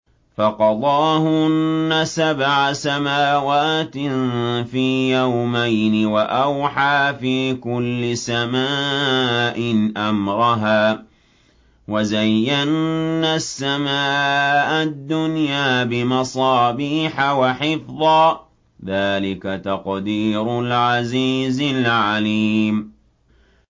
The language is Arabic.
فَقَضَاهُنَّ سَبْعَ سَمَاوَاتٍ فِي يَوْمَيْنِ وَأَوْحَىٰ فِي كُلِّ سَمَاءٍ أَمْرَهَا ۚ وَزَيَّنَّا السَّمَاءَ الدُّنْيَا بِمَصَابِيحَ وَحِفْظًا ۚ ذَٰلِكَ تَقْدِيرُ الْعَزِيزِ الْعَلِيمِ